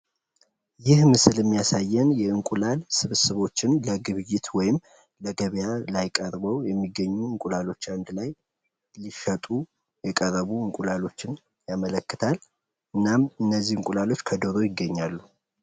ይህ ምስል የሚያሳየን የእንቁላል ስብስቦችን ለግብይት ወይም ደሞ ለገበያ ላይ ቀርበው የሚገኙ እንቁላሎችን አንድ ላይ ሊሸጡ የቀረቡ እንቁላሎችን ያመለክታል እናም እነዚህ እንቁላሎች ከዶሮ ይገኛሉ።